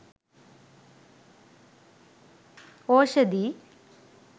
oshadi